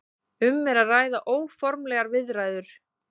Um er að ræða óformlegar viðræður